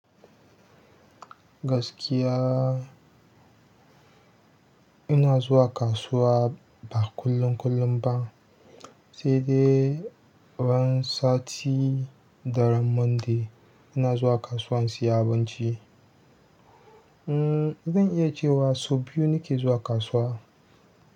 Gaskiya, ina zuwa kasuwa ba kullum kullum ba, sai dai ran sati da ran Monday ina zuwa kasuwa in siya abinci. Hmm, zan iya cewa sau biyu nake zuwa kasuwa.